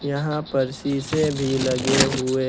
यहां पर शीशे भी लगे हुए।